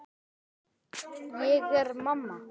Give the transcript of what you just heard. Ég er orðinn þjófur.